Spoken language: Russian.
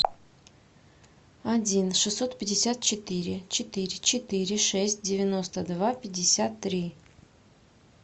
один шестьсот пятьдесят четыре четыре четыре шесть девяносто два пятьдесят три